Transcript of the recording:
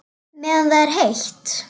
Meðan það er heitt.